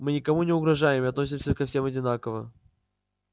мы никому не угрожаем и относимся ко всем одинаково